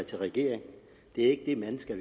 til regeringen det er ikke de mennesker